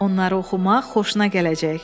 Onları oxumaq xoşuna gələcək.